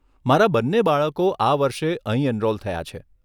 મારા બંને બાળકો આ વર્ષે અહીં એનરોલ થયાં છે?